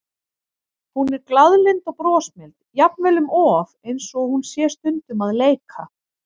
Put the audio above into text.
Hún er glaðlynd og brosmild, jafnvel um of, eins og hún sé stundum að leika.